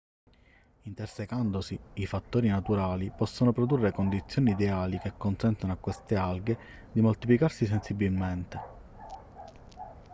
intersecandosi i fattori naturali possono produrre condizioni ideali che consentono a queste alghe di moltiplicarsi sensibilmente